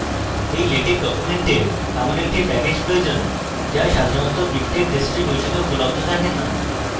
এই latex ডকুমেন্টটির এমন একটি প্যাকেজ প্রয়োজন যা সাধারণত আপনার মিকটেক ডিস্ট্রিবিউশনে উপলব্ধ থাকে না